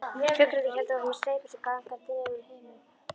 Fuglarnir héldu áfram að steypa sér gargandi niður úr himinhvolfinu.